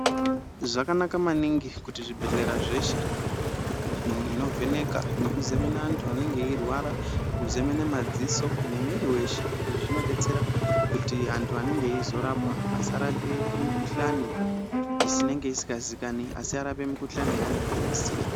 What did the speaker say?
Zvakanaka maningi kuti zvibhedhleya zveshe zvigare zvine michini inovheneka nekuzemena antu anenge eirwara kuzemena madziso nemwiri weshe izvi zvinodetsera kuti antu anenge izorapa asarape mikuhlani isingazikanwi asi arape mikuhlani yaanenge eiziya.